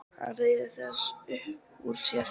Hann ryður þessu upp úr sér.